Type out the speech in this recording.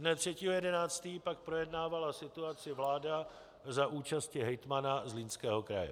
Dne 3. 11. pak projednávala situaci vláda za účasti hejtmana Zlínského kraje.